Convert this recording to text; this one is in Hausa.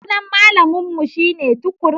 Sunan malamun mu shine Tukur.